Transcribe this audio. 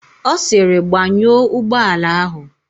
Ọ sịrị, "gbanyụọ ụgbọala áhụ̀"!